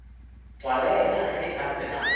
tswalela ge a se na